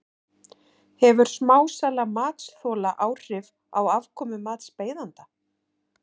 Hefur smásala matsþola áhrif á afkomu matsbeiðanda?